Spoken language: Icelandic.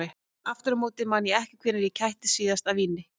Aftur á móti man ég ekki hvenær ég kættist síðast af víni.